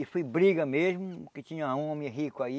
E foi briga mesmo, que tinha um homem rico aí.